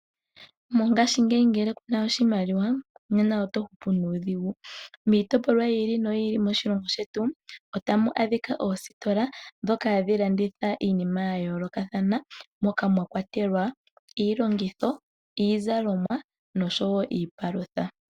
Mongashiingeyi ngele kuna oshimaliwa nena oto hupu nuudhigu. Miitopolwa yi ili noyi ili moshilongo shetu otamu adhika oositola dhoka hadhi landitha iinima ya yoolokathana moka mwa kwatelwa iilongitho, iizalomwa nosho wo iipalutha.